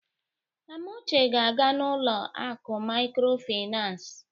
Amuche ga-aga n'ụlọ akụ mikrofinas.